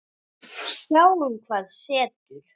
Sjáum hvað setur.